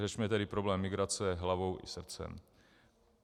Řešme tedy problém migrace hlavou i srdcem.